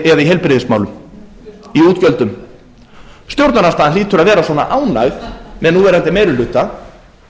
eða í heilbrigðismálum í útgjöldum stjórnarandstaðan hlýtur að vera svona ánægð með núverandi meiri hluta